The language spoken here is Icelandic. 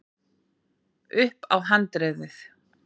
upp á handriðið.